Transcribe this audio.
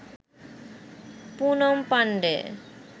Poonam Pandey